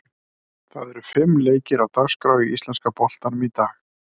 Það eru fimm leikir á dagskrá í íslenska boltanum í dag.